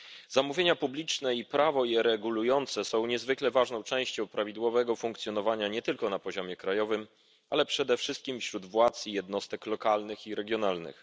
Zamówienia publiczne i prawo je regulujące są niezwykle ważnym elementem prawidłowego funkcjonowania nie tylko na poziomie krajowym, ale przede wszystkim wśród władz i jednostek lokalnych i regionalnych.